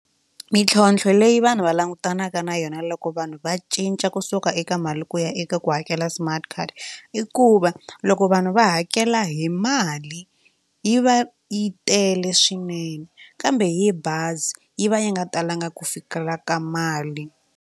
Mintlhontlho leyi vanhu va langutanaka na yona loko vanhu va cinca kusuka eka mali ku ya eka ku hakela smart card i ku va loko vanhu va hakela hi mali yi va yi tele swinene kambe hi bazi yi va yi nga talanga ku fikela ka mali.